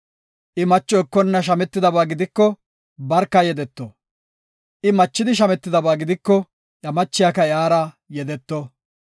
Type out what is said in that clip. I macho ekona shametidaba gidiko, barka yedeto. I machidi, shametidaba gidiko, iya machiyaka iyara yedeto.